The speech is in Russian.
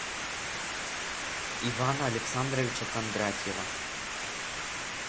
ивана александровича кондратьева